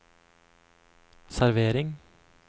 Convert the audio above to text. servering